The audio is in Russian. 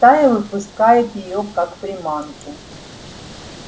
стая выпускает её как приманку